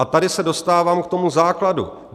A tady se dostávám k tomu základu.